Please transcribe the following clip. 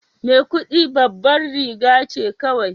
Maikudi babbar riga ce kawai